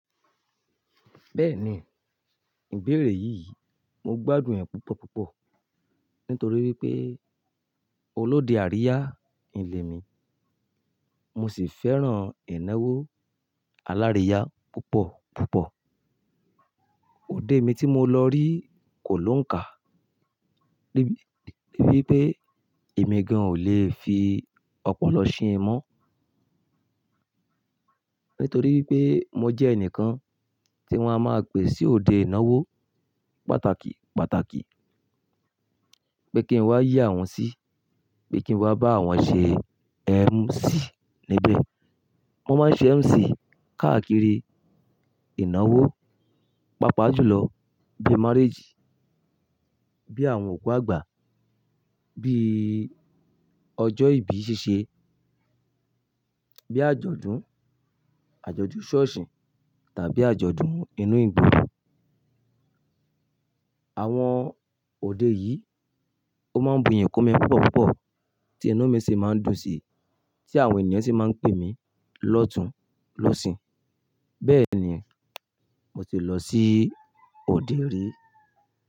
Bẹ́ẹ̀ni, ìbéèrè yìí mo gbádùn ẹ̀ púpọ̀ púpọ̀ nítorí wípé olóde àríyá n lemi, mo sì fẹ́ràn ìnáwó aláríyá púpọ̀ púpọ̀. Òde mi tí mo lọ rí kò lóǹkà, níbí pé èmi gan ò le fi ọ̀pọ̀lọ sìn mọ́. Nítorí wípé mo jẹ́ ẹnìkan tí wọ́n a máa ń pè sí òde ìnáwó pàtàkì pàtàkì, pé kí n wá yíe àwọn sí, pé kí n wá bá àwọn ṣe MC níbẹ̀. Mo máa ń ṣe MC káàkiri ìnáwó, pàápàá jùlọ bí marriage, bí àwọn òkú àgbà, bí ọjọ́ ìbí ṣíṣe, bí àjọ̀dún, àjọ̀dún ṣọ́ọ̀ṣì tàbí àjọ̀dún inú ìgboro. Àwọn òde yìí ó máa ń bu iyì kún mi púpọ̀ púpọ̀ tí inú mi sì máa ń dùn sí, tí àwọn ènìyàn sì máa ń pè mí lọ́tun lọ́sì. Bẹ́ẹ̀ni, mo ti lọ sí òde rí.